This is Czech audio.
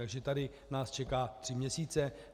Takže tady nás čeká tři měsíce.